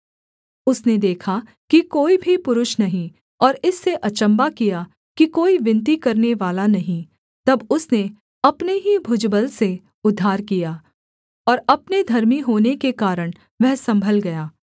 उसने देखा कि कोई भी पुरुष नहीं और इससे अचम्भा किया कि कोई विनती करनेवाला नहीं तब उसने अपने ही भुजबल से उद्धार किया और अपने धर्मी होने के कारण वह सम्भल गया